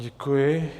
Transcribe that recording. Děkuji.